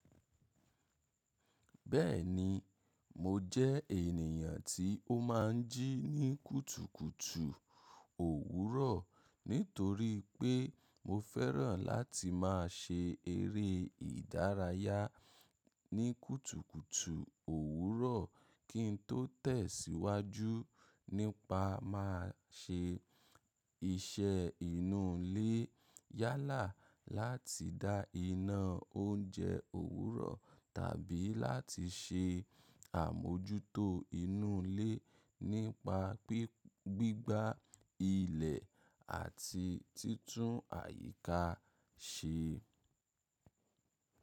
Bẹ́ẹ̀ni, mo jẹ́ ènìyàn tí ó máa ń jí ní kùtùkùtù òwúrọ̀, nítorí pé mo fẹ́ràn láti máa ṣe eré ìdárayá ní kùtùkùtù òwúrọ̀ kí n tó tẹ̀síwájú nípa máa ṣe iṣẹ́ inú ilé yálà láti dá iná oúnjẹ òwúrọ̀ tàbí láti ṣe àmójútó inú ilé nípa gbígbá ilẹ̀ àti títún àyíká ṣe.